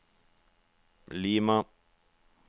Lima